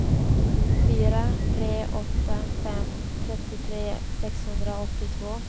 fyra tre åtta fem trettiotre sexhundraåttiotvå